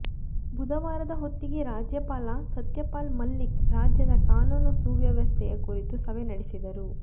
ಬುಧವಾರದ ಹೊತ್ತಿಗೆ ರಾಜ್ಯಪಾಲ ಸತ್ಯಪಾಲ್ ಮಲ್ಲಿಕ್ ರಾಜ್ಯದ ಕಾನೂನು ಸುವ್ಯವಸ್ಥೆಯ ಕುರಿತು ಸಭೆ ನಡೆಸಿದರು